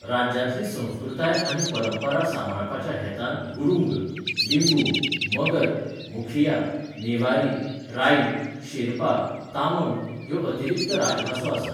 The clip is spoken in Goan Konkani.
राज्यांतली संस्कृताय आनी परंपरा सांबाळपाच्या हेतान गुरुंग, लिम्बू, मगर, मुखिया, नेवारी, राई, शेर्पा, तामंग ह्यो अतिरिक्त राजभासो आसात.